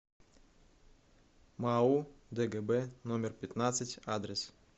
мау дгб номер пятнадцать адрес